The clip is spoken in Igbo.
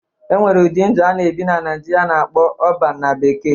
E nwere ụdị ndụ a na-ebi na Naijiria a na-akpọ 'Urban' na bekee.